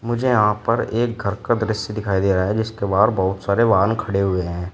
मुझे यहां पर एक घर का दृश्य दिखाई दे रहा है जिसके बाहर बहुत सारे वाहन खड़े हुए हैं।